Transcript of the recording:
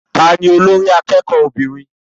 Ta ni olórí akẹ́kọ̀ọ́ obìnrin?